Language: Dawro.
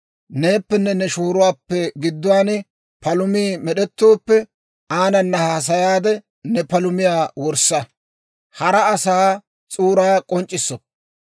Neeppenne ne shooruwaappe gidduwaan palumii med'ettooppe, aanana haasayaade ne palumiyaa wurssa. Hara asaa s'uuraa k'onc'c'issoppa.